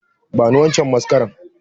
Bani wancan mascara!